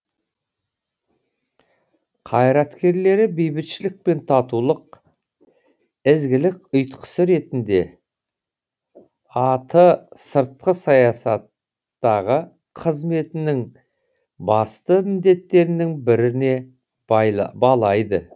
қайраткерлері бейбітшілік пен татулық ізгілік ұйытқысы ретінде а ты сыртқы саясаттағы қызметінің басты міндеттерінің біріне балайды